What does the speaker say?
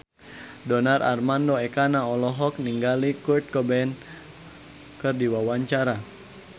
Donar Armando Ekana olohok ningali Kurt Cobain keur diwawancara